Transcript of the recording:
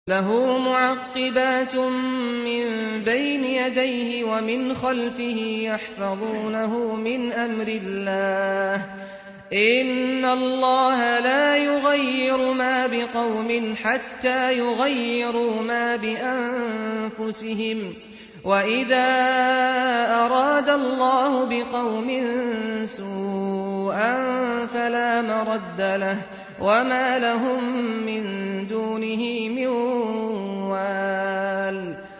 لَهُ مُعَقِّبَاتٌ مِّن بَيْنِ يَدَيْهِ وَمِنْ خَلْفِهِ يَحْفَظُونَهُ مِنْ أَمْرِ اللَّهِ ۗ إِنَّ اللَّهَ لَا يُغَيِّرُ مَا بِقَوْمٍ حَتَّىٰ يُغَيِّرُوا مَا بِأَنفُسِهِمْ ۗ وَإِذَا أَرَادَ اللَّهُ بِقَوْمٍ سُوءًا فَلَا مَرَدَّ لَهُ ۚ وَمَا لَهُم مِّن دُونِهِ مِن وَالٍ